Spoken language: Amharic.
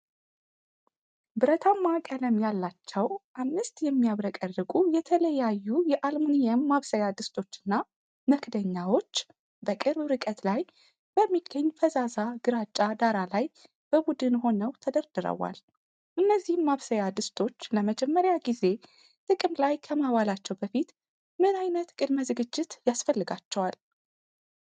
ብረታማ ቀለም ያላቸው አምስት የሚያብረቀርቁ የተለያዩ የአልሙኒየም ማብሰያ ድስቶችና መክደኛዎች በቅርብ ርቀት ላይ በሚገኝ ፈዛዛ ግራጫ ዳራ ላይ በቡድን ሆነው ተደርድረዋል፤ እነዚህ ማብሰያ ድስቶች ለመጀመሪያ ጊዜ ጥቅም ላይ ከመዋላቸው በፊት ምን ዓይነት ቅድመ-ዝግጅት ያስፈልጋቸዋል?